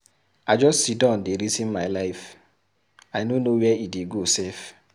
I just siddon dey resin my life, I no know where e dey go sef.